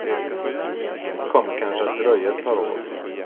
Det kommer kanske att dröja ett par år.